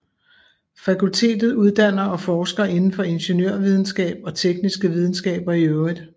Fakultetet uddanner og forsker indenfor ingeniørvidenskab og tekniske videnskaber i øvrigt